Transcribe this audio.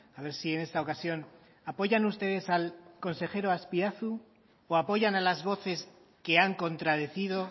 a ver si en esta ocasión apoyan ustedes al consejero azpiazu o apoyan a las voces que han contradecido